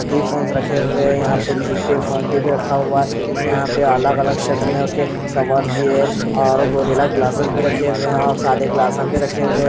सभी फ़ोन्स रखे हुए है यहाँ पे जी_ पे फ़ोन पे भी रखा हुआ है यहाँ पे अलग अलग शेल्फ में उसके कवर्स भी है और गोरिल्ला ग्लासेस भी लगे हुए है और साधा ग्लासेस भी रखे हुए है.